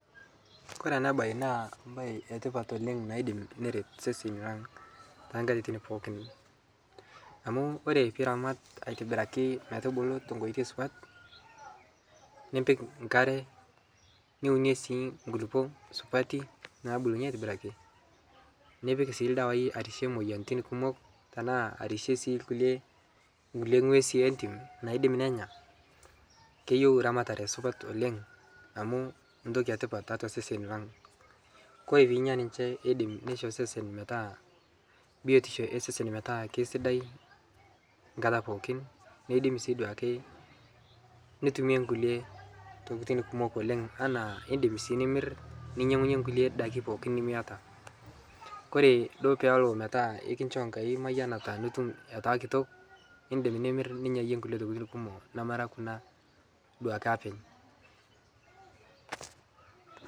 Kore anaa bai naa mbai e tipat oleng' naidi neret seseni lang tankatitin pooki amu kore piiramat aitibirakii metubulu tenkoitei supat nipik nkaree niunie sii nkulipo supati nabulunyie aitibiraki nipik sii ldawai arishie moyaritin kumok tanaa sii arishie nkulie ng'wesi e ntim naidim nenyaa keyeu ramatare supat oleng amu ntoki e tipat taatua seseni lang kore piinya ninshe eidim neisho sesen metaa biotisho e sesen metaa keisidai nkataa pookin neidim sii duake nutumie nkulie tokitin kumoo oleng' tanaa indim sii nimir ninyengunyee nkulie dakii pooki nimiata kore duo peelo metaa ikinshoo nkai mayanataa nitum etaa kitok indim nimir ninyayie nkulie tokitin kumoo namaraa kuna duake aapeny.